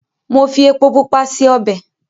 Mo fi epo pupa se obẹ̀.